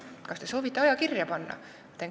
Kas te soovite aja kirja panna?